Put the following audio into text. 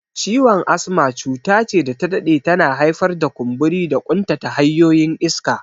Ciwon asma cuta ce da ta dade tana haifar da kumburi da ƙuntata hanyoyin iska.